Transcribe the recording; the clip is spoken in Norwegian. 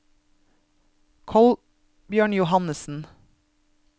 Kolbjørn Johannesen